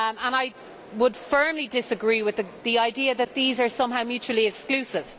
I would firmly disagree with the idea that these are somehow mutually exclusive.